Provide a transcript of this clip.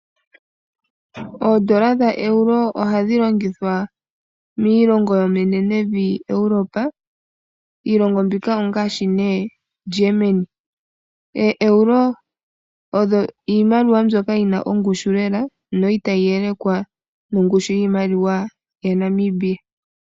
Oondola dhaEuro ohadhi longithwa miilongo yemenevi lyaEuropa, iilongo mbika ongaashi ne German. OoEuro odho iimaliwa mbyoka yi na ongushu lela no itayi yelekwa nongushu yiimaliwa yaNamibia.